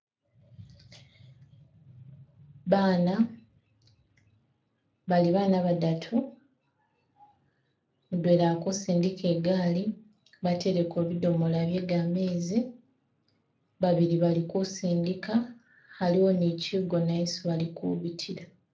Baana, bali baana badatu mudwela ali kusindika igaali batereko bidomoola bye gamezi , babili bali kusindika , aliwo ne kigoona esi bali kubitila.